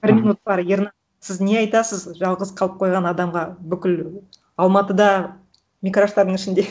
іхі бір минут бар ернар сіз не айтасыз жалғыз қалып қойған адамға бүкіл алматыда микраштардың ішінде